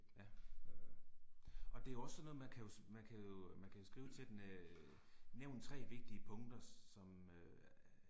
Ja. Og det er jo også sådan noget man kan jo, man kan jo, man kan jo skrive til den øh nævn 3 vigtige punkter som øh